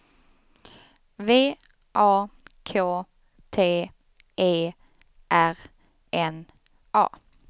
V A K T E R N A